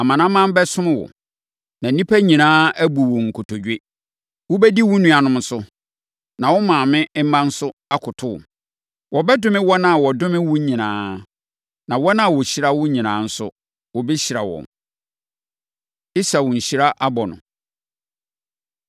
Amanaman bɛsom wo, na nnipa nyinaa abu wo nkotodwe. Wobɛdi wo nuanom so, na wo maame mma nso akoto wo. Wɔbɛdome wɔn a wɔdome wo nyinaa, na wɔn a wɔhyira wo nyinaa nso, wɔbɛhyira wɔn.” Esau Nhyira Abɔ No